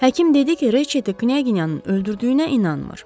Həkim dedi ki, Reçetin Knyaginyanın öldürdüyünə inanmır.